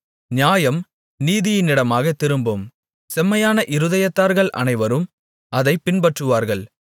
நியாயம் நீதியினிடமாகத் திரும்பும் செம்மையான இருதயத்தார்கள் அனைவரும் அதைப் பின்பற்றுவார்கள்